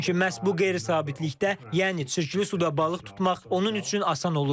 Çünki məhz bu qeyri-sabitlikdə, yəni çirkli suda balıq tutmaq onun üçün asan olurdu.